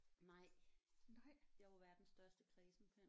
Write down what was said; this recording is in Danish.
Nej jeg er jo verdens største kræsenpind